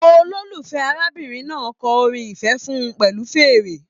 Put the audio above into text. Ololufẹ arábìnrin náà kọ orin ifẹ fún pẹlu fèèrè.